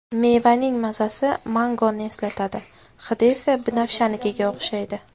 Mevaning mazasi mangoni eslatadi, hidi esa binafshanikiga o‘xshaydi.